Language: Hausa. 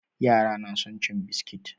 Yara na son cin biskit.